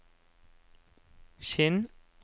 Kinn